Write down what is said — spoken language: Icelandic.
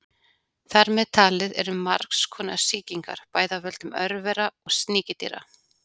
Þar með talið eru margs konar sýkingar, bæði af völdum örvera og sníkjudýra.